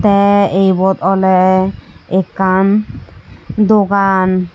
te ebot awle ekkan dogan.